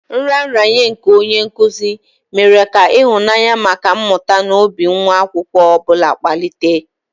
Nraranye nke onye nkuzi mere ka ịhụnanya maka mmụta n'obi nwa akwụkwọ ọ bụla kpalitere.